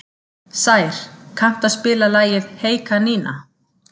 Sær, kanntu að spila lagið „Hey kanína“?